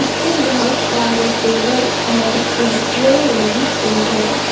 इसमें बहोत सारे टेबल और कुर्सियां लगी हुई है।